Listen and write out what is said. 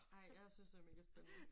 Ej jeg synes det mega spændende